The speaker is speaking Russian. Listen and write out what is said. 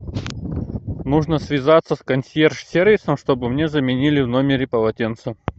нужно связаться с консьерж сервисом чтобы мне заменили в номере полотенце